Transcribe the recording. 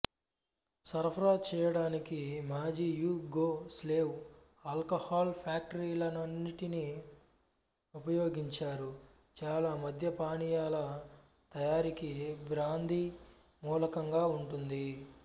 సరఫరా చేయడానికి మాజీయుగోస్లేవ్ ఆల్కహాల్ ఫ్యాక్టరీలన్నింటినీ ఉపయోగించారు చాలా మద్య పానీయాల తయారీకి బ్రాందీ మూలంగా ఉంటుంది